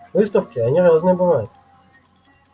выставки они разные бывают